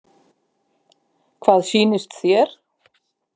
Hvað sýnist þér?